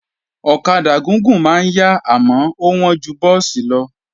Ọ̀kadà gúgùn máa ń yá àmọ́ ó wọ́n ju búùsì lọ